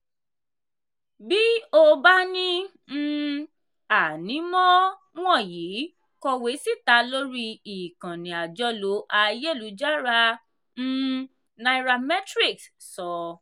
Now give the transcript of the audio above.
“bí o bá ní um ànímọ́ wọ̀nyí kọ̀wé síta lórí ikànnì àjọlò ayélujára” um nairametrics sọ.